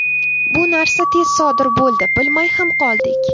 Bu narsa tez sodir bo‘ldi bilmay ham qoldik.